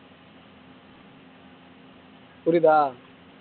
புரிதா